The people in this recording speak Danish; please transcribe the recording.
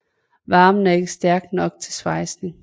Varmen er ikke stærk nok til svejsning